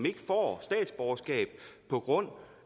ikke får statsborgerskab på grund